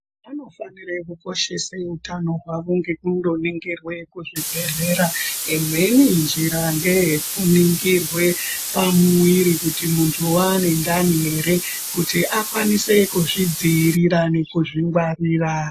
Vanofanire kukoshese utano hwavo ngekundoningirwe kuchibhedhlera imweni njira ngeyekuningirwe pamuwiri kuti muntu wane ndani ere kuti akwanise kuzvidziirira nekuzvingwarira.